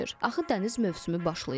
Axı dəniz mövsümü başlayıb.